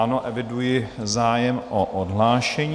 Ano, eviduji zájem o odhlášení.